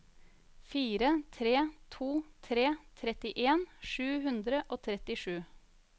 fire tre to tre trettien sju hundre og trettisju